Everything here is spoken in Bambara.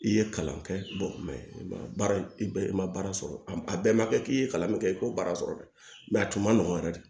I ye kalan kɛ baara i ma baara sɔrɔ a bɛɛ ma kɛ k'i ye kalan min kɛ i k'o baara sɔrɔ dɛ a tun man nɔgɔn yɛrɛ de